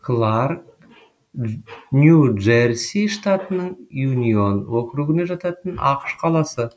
кларк нью джерси штатының юнион округіне жататын ақш қаласы